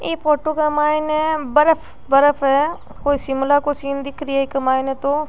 इ फोटो के माइन बर्फ बर्फ है कोई शिमला को सीन दिख री है इक माइन तो।